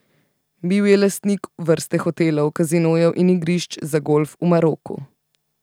Bil je lastnik vrste hotelov, kazinojev in igrišč za golf v Maroku.